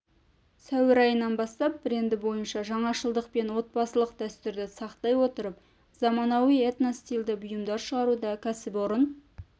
сәуір айынан бастап бренді бойынша жаңашылдықпен отбасылық дәстүрді сақтай отырып заманауи этно-стильді бұйымдар шығаруда кәсіпорын